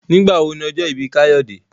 Nigbawo ni ojo ibi Kayode?